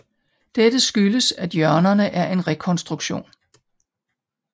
Dette skyldes at hjørnerne er en rekonstruktion